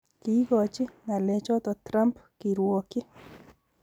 Kiigochi ng"alechoto Trump kiruokyi